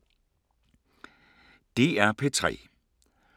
DR P3